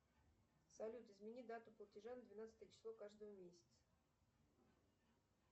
салют измени дату платежа на двенадцатое число каждого месяца